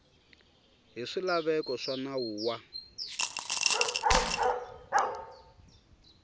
hi swilaveko swa nawu wa